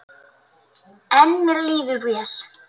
En mér líður vel.